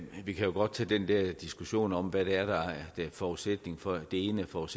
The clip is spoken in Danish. vi kan jo godt tage den der diskussion om hvad det er der er forudsætning for det ene og